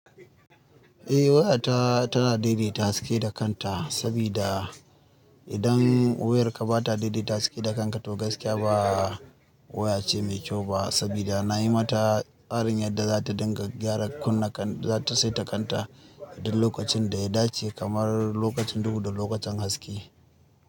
Eh waya ta tana daidaita haske da kanta sabida idan wayarka bata daidaita haske da kanta to gaskiya ba waya ce mai kyau ba sabida nayi mata farin yarda zata dinga gyara kunna kan zata saita kanta duk lokacin da ya dace kamar lokacin duhu da lokacin haske.